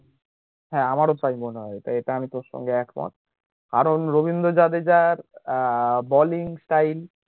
হ্যাঁ আমার ও তাই মনে হয় তাই এটা আমি তোর সঙ্গে একমত কারণ Ravindra Jadeja ah bowling style